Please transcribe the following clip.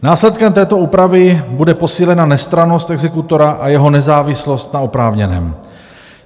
Následkem této úpravy bude posílena nestrannost exekutora a jeho nezávislost na oprávněném.